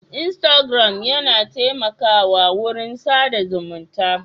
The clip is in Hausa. Instagram yana taimakawa wurin sa da zumunta.